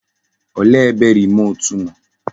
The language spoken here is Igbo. Olee ebe remut nọ?